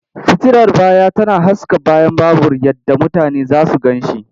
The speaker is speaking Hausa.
Fitilar baya tana haska bayan babur yadda mutane za su gan shi.